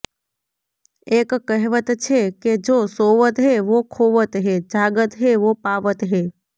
એક કહેવત છે કે જો સોવત હૈ વો ખોવત હૈ જાગત હૈ વો પાવત હૈ